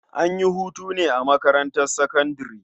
An yi hutu ne a makarntar sakandare.